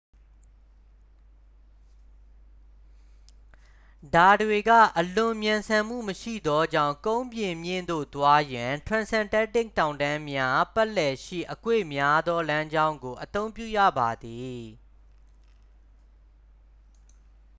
ဒါတွေက အလွန်မြန်ဆန်မှုမရှိသောကြောင့် ကုန်းပြင်မြင့်သို့ သွားရန် transantarctic တောင်တန်းများ ပတ်လည်ရှိအကွေ့များသော လမ်းကြောင်းကို အသုံးပြုရပါသည်